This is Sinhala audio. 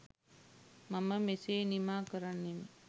මම මෙසේ නිමා කරන්නෙමි.